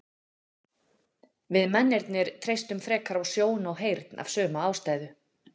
Við mennirnir treystum frekar á sjón og heyrn af sömu ástæðu.